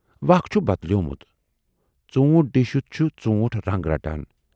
وقت چھُ بدلیومُت، ژوٗنٹھ ڈیٖنشِتھ چھُ ژوٗنٹھ رَنگ رَٹان۔